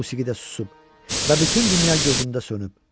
Musiqi də susub və bütün dünya gözümdə sönüb.